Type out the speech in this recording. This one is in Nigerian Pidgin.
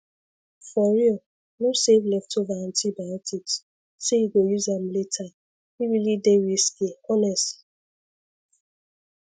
for real no save leftover antibiotics say you go use am latere really dey risky honestly